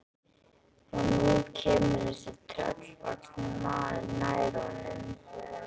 Og nú kemur þessi tröllvaxni maður nær honum.